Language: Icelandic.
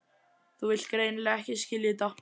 Þú vilt greinilega ekki skilja þetta.